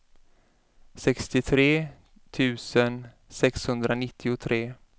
sextiotre tusen sexhundranittiotre